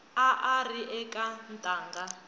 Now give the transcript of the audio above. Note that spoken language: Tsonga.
a a ri eka ntangha